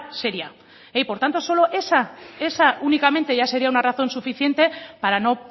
seria por tanto solo esa esa únicamente ya sería una razón suficiente para no